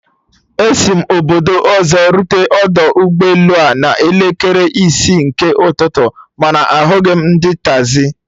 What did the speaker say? Esi mụ obodo ọzọ rute ọdọ ụgbọ elu a a n'elekere isi nke ụtụtụ, mana ahụghị m ndị taxi